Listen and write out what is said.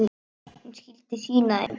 Hún skyldi sýna þeim.